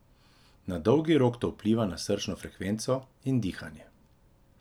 Na dolgi rok to vpliva na srčno frekvenco in dihanje.